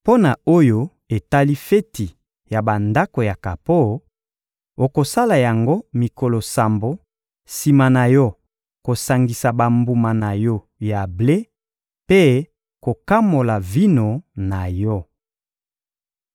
Mpo na oyo etali feti ya Bandako ya kapo, okosala yango mikolo sambo sima na yo kosangisa bambuma na yo ya ble mpe kokamola vino na yo.